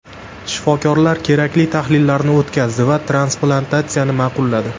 Shifokorlar kerakli tahlillarni o‘tkazdi va transplantatsiyani ma’qulladi.